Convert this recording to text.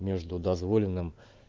между дозволенным